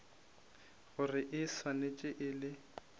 gore e swanetše e le